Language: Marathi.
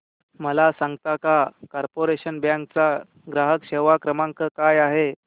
मला सांगता का कॉर्पोरेशन बँक चा ग्राहक सेवा क्रमांक काय आहे